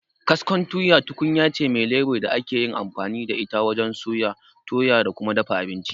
Kaskon tuya tukunyace me lebur da akeyin amfani da ita wajen soya, toya da kuma dafa abinci.